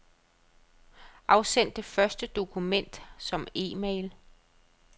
Afsend det første dokument som e-mail.